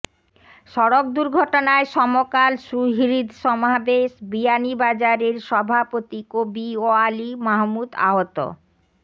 সড়ক দুর্ঘটনায় সমকাল সুহৃদ সমাবেশ বিয়ানীবাজারের সভাপতি কবি ওয়ালি মাহমুদ আহত